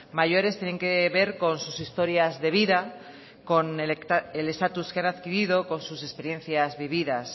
mayores tienen que ver con sus historias de vida con el status que han adquirido con sus experiencias vividas